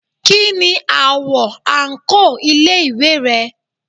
Kí ni àwo àǹkóò ilé ìwé rẹ?